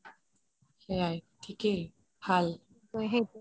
সেইৱাই থিকেই ভাল